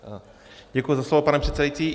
Děkuji za slovo, pane předsedající.